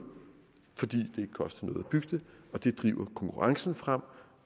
fordi at bygge det og det driver konkurrencen frem